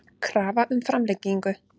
Krafa um framlengingu